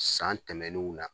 San tɛmɛnenw na